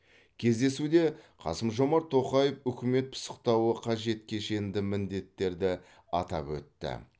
кездесуде қасым жомарт тоқаев үкімет пысықтауы қажет кешенді міндеттерді атап өтті